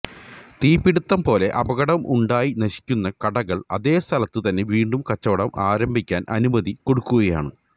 തീപിടിത്തം പോലെ അപകടം ഉണ്ടായി നശിക്കുന്ന കടകള് അതേ സ്ഥലത്ത് തന്നെ വീണ്ടും കച്ചവടം ആരംഭിക്കാന് അനുമതി കൊടുക്കുകയാണ്